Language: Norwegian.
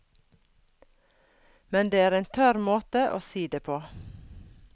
Men det er en tørr måte å si det på.